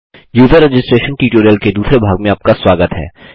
user registration tutorial के दूसरे भाग में आपका स्वागत है